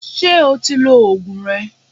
Ṣé o ti òògùn rẹ?